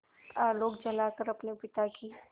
आलोक जलाकर अपने पिता की